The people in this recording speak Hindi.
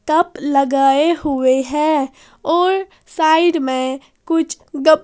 कप लगाए हुए हैं और साइड में कुछ गप--